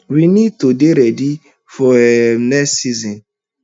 we need to dey ready for um next season